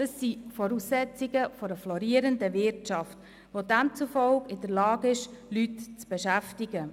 Das sind Voraussetzungen für eine florierende Wirtschaft, die demzufolge in der Lage ist, Leute zu beschäftigen.